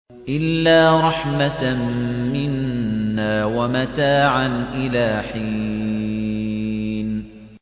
إِلَّا رَحْمَةً مِّنَّا وَمَتَاعًا إِلَىٰ حِينٍ